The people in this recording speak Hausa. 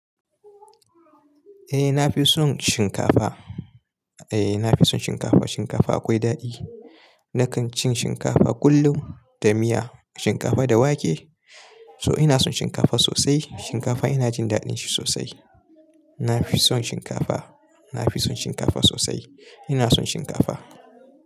Eh na fi son shinkafa. Eh na fi son shinkafa. Shinkafa akwai daɗi. Nakan cin shinkafa kullum da miya, shinkafa da wake. So ina son shinkafa sosai. Shinkafa ina jin daɗin shi sosai. Na fi son shinkafa. Na fi son shinkafa sosai. Ina son shinkafa.